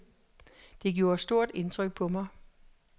Det gjorde stort indtryk på mig.